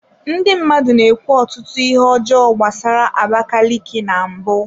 Ndị mmadụ na-ekwu ọtụtụ ihe ọjọọ gbasara abakaliki na mbụ.